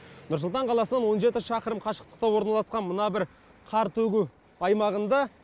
нұр сұлтан қаласынан он жеті шақырым қашықтықта орналасқан мына бір қар төгу аймағында